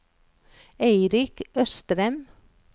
Eirik Østrem